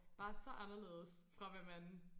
Bare så anderledes fra hvad man